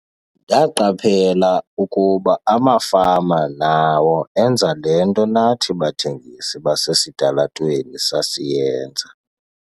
"Ndaqaphela ukuba amafama nawo enza le nto nathi bathengisi basesitalatweni sasiyenza."